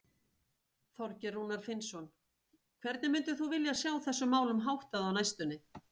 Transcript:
Þorgeir Rúnar Finnsson: Hvernig myndir þú vilja sjá þessum málum háttað á næstunni?